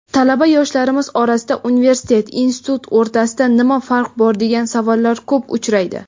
Talaba yoshlarimiz orasida "universitet" "institut" o‘rtasida nima farq bor degan savollar ko‘p uchraydi.